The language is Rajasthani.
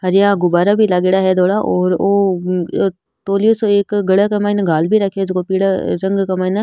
हरिया गुब्बारा भी लागेड़ा है धोलाऔर ओ तौलियो सो एक गले के मायने घाल भी राख्यो है जको पीला रंग के मायने --